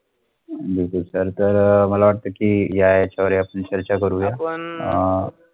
बिलकुल सर तर अह मला वाटाथा की या येचा वर आपुन चर्चा करुण घेया